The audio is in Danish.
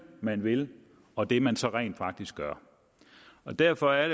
man vil og det man så rent faktisk gør derfor er